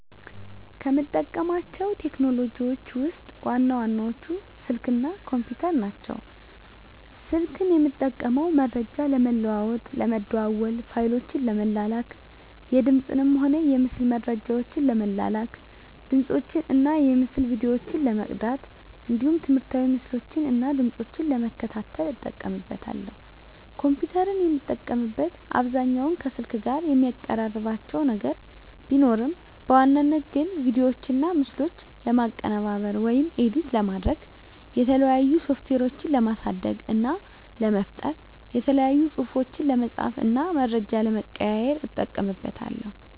ከምጠቀማቸው ቴክኖሎጂዎችን ውስጥ ዋና ዋናዎቹ ስልክ እና ኮምፒተር ናቸው። ስልክን የምጠቀመው መረጃ ለመለዋዎጥ ለመደዋዎል፣ ፋይሎችን ለመላላክ፣ የድምፅንም ሆነ የምስል መረጃዎችን ለመላላክ፣ ድምፆችን እና የምስል ቪዲዮዎችን ለመቅዳት እንዲሁም ትምህርታዊ ምስሎችን እና ድምጾችን ለመከታተል እጠቀምበታለሁ። ኮምፒተርን የምጠቀምበት አብዛኛውን ከስልክ ጋር የሚቀራርባቸው ነገር ቢኖርም በዋናነት ግን ቪዲዮዎችና ምስሎችን ለማቀነባበር (ኤዲት) ለማድረግ፣ የተለያዩ ሶፍትዌሮችን ለማሳደግ እና ለመፍጠር፣ የተለያዩ ፅሁፎችን ለመፃፍ እና መረጃ ለመቀያየር ... እጠቀምበታለሁ።